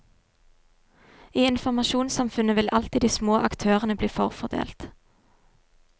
I informasjonssamfunnet vil alltid de små aktørene bli forfordelt.